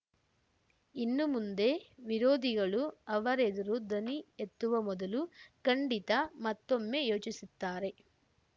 ಇನ್ನು ಮುಂದೆ ವಿರೋಧಿಗಳು ಅವರೆದುರು ಧ್ವನಿ ಎತ್ತುವ ಮೊದಲು ಖಂಡಿತ ಮತ್ತೊಮ್ಮೆ ಯೋಚಿಸುತ್ತಾರೆ